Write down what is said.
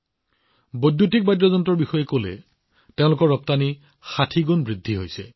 বৈদ্যুতিক বাদ্যযন্ত্ৰৰ ৰপ্তানি ৬০ গুণ বৃদ্ধি পাইছে